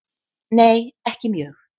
Nei ekki mjög.